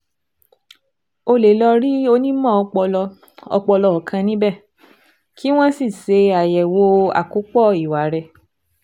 O lè lọ rí onímọ̀ ọpọlọ ọpọlọ kan níbẹ̀, kí wọ́n sì ṣe àyẹ̀wò àkópọ̀ ìwà rẹ